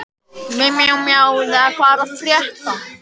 Arnleif, hvað er að frétta?